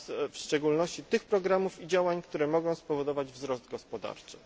w szczególności tych programów i działań, które mogą spowodować wzrost gospodarczy.